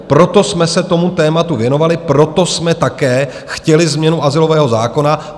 Proto jsme se tomu tématu věnovali, proto jsme také chtěli změnu azylového zákona.